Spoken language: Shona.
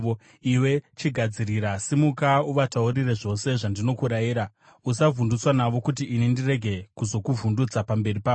“Iwe chigadzirira! Simuka uvataurire zvose zvandinokurayira. Usavhundutswa navo, kuti ini ndirege kuzokuvhundutsa pamberi pavo.